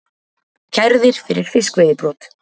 Kærðir fyrir fiskveiðibrot